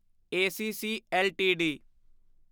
ACC LTD